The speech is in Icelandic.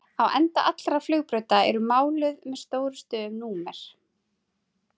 Á enda allra flugbrauta eru máluð með stórum stöfum númer.